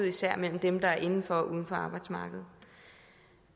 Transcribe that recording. især mellem dem der er inden for og uden for arbejdsmarkedet